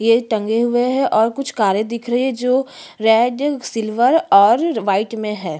ये टंगे हुए है और कुछ कारे दिख रही है जो रेड सिल्वर और वाइट में है।